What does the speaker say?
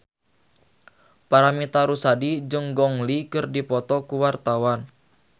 Paramitha Rusady jeung Gong Li keur dipoto ku wartawan